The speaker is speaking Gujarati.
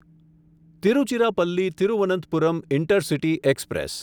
Tiruchirappalli Thiruvananthapuram intercity express